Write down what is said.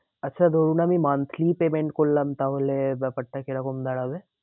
আচ্ছা ধরুন আমি monthly payment করলাম। তাহলে ব্যাপারটা কি রকম দাঁড়াবে?